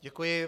Děkuji.